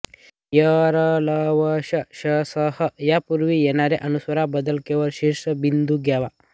य् र् ल् व् श् ष् स् ह् यांच्यापूर्वी येणाऱ्या अनुस्वारांबद्दल केवळ शीर्षबिंदू द्यावा